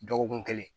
Dɔgɔkun kelen